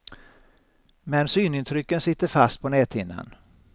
Men synintrycken sitter fast på näthinnan.